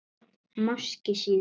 Máski síðar.